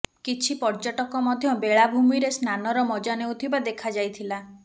କିଛି ପର୍ଯ୍ୟଟକ ମଧ୍ୟ ବେଳାଭୂମୀରେ ସ୍ନାନ ର ମଜା ନେଉଥିବା ଦେଖାଯାଇଥିଲା